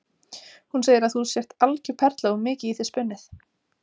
Hún segir að þú sért algjör perla og mikið í þig spunnið.